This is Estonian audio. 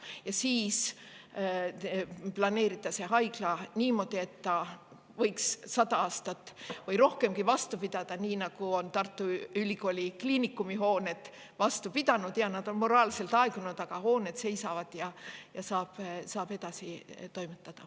Ja siis planeerida see haigla niimoodi, et see võiks sada aastat või rohkemgi vastu pidada, nii nagu on Tartu Ülikooli Kliinikumi hooned vastu pidanud – jaa, need on moraalselt aegunud, aga hooned seisavad ja seal saab edasi toimetada.